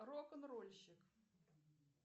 рок н рольщик